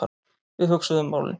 Við hugsuðum málin.